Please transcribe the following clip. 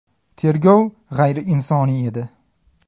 Tergov g‘ayriinsoniy edi.